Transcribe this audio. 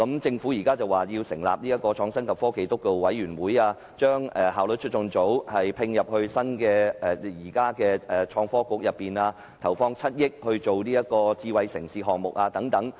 政府現時表示要成立創新及科技督導委員會，並將效率促進組歸入創科及科技局，以及投放7億元推展智慧城市項目等。